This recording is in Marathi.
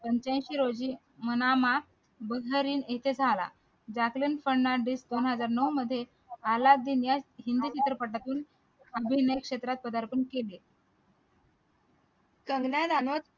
पंच्याऐंशी रोजी manama bahrain येथे झाला जॅकलीन फर्नांडिस दोन हजार नऊ मध्ये अल्लादिन या हिंदी चित्रपटातून क्षेत्रात पदार्पण केले